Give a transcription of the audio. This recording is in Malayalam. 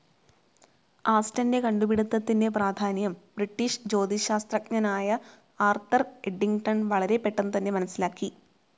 ആസ്റ്റന്റെ കണ്ടുപിടിത്തത്തിന്റെ പ്രാധാന്യം ബ്രിട്ടീഷ് ജ്യോതിശാസ്ത്രജ്ഞനായ ആർതർ ഏഡിങ്ങ്ടൻ വളരെ പെട്ടെന്ന് തന്നെ മനസ്സിലാക്കി.